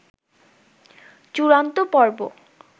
চূাড়ন্ত পর্ব